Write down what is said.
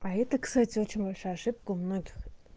а это кстати очень большая ошибка у многих